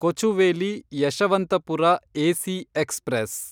Kochuveli Yesvantpur AC express